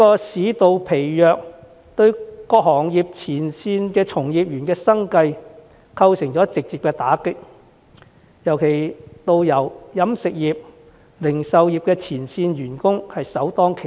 市道疲弱對於各行業前線從業員的生計構成直接打擊，導遊、飲食業及零售業的前線員工更是首當其衝。